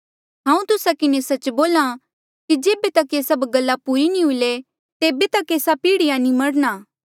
हांऊँ तुस्सा किन्हें सच्च बोल्हा कि जेबे तक ये सभ गल्ला पूरी नी हुई ले तेबे तक एस्सा पीढ़िया नी मरणा